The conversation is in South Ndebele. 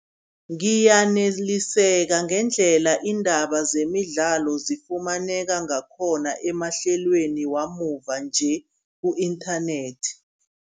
Ngiyaneliseka ngendlela iindaba zemidlalo zifumaneka ngakhona, emahlelweni wamuva-nje ku-inthanethi.